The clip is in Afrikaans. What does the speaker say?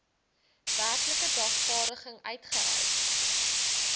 werklike dagvaarding uitgereik